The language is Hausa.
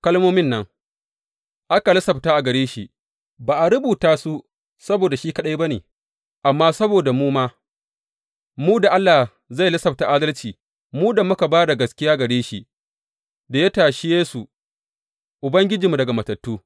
Kalmomin nan, aka lissafta a gare shi ba a rubuta su saboda shi kaɗai ba ne, amma saboda mu ma, mu da Allah zai lissafta adalci, mu da muka ba da gaskiya gare shi da ya tashe Yesu Ubangijinmu daga matattu.